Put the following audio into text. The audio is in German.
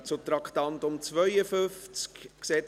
Wir kommen zum Traktandum 52: